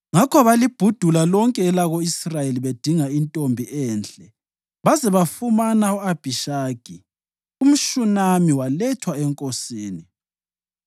Ngakho balibhudula lonke elako-Israyeli bedinga intombi enhle baze bafumana u-Abhishagi, umShunami walethwa enkosini.